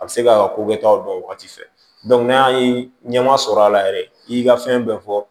A bɛ se ka ko kɛtaw dɔn wagati fɛ n'a y'a ye ɲɛ ma sɔrɔ a la yɛrɛ i ka fɛn bɛɛ fɔ